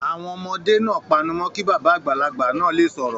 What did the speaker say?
Àwọn ọmọdé náà panu mọ́ kí bàbá àgbàlagbà náà le sọ̀rọ̀.